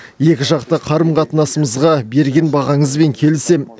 екіжақты қарым қатынасымызға берген бағаңызбен келісемін